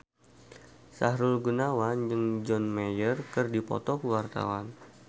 Sahrul Gunawan jeung John Mayer keur dipoto ku wartawan